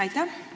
Aitäh!